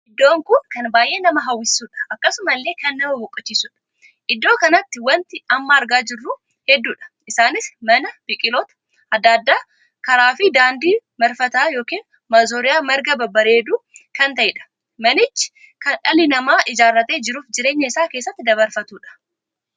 Iddoon kun kan baay'ee nama hawwisuudha. akkasumallee kan nama boqochisuudha. idddoo kanatti wanti amma argamaa jiru hedduudha. isaanis mana, biqiloota addaa addaa, karaa ykn daandii marfata ykn mazooriyaa marga babbareeddduu kan taheedha. manichi kan dhalli namaa ijaarratee jiruuf jireenya isaa keessatti dabarfatuudha.